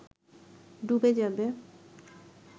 ডুবে যাবে